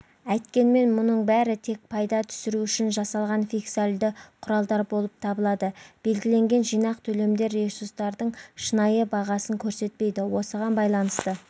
әйткенмен мұның бәрі тек пайда түсіру үшін жасалған фискальды құралдар болып табылады белгіленген жинақ төлемдер ресурстардың шынайы бағасын көрсетпейді осыған байланысты